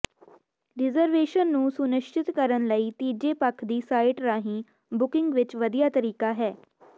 reservation ਨੂੰ ਸੁਨਿਸ਼ਚਿਤ ਕਰਨ ਲਈ ਤੀਜੇ ਪੱਖ ਦੀ ਸਾਈਟ ਰਾਹੀਂ ਬੁਕਿੰਗ ਇੱਕ ਵਧੀਆ ਤਰੀਕਾ ਹੈ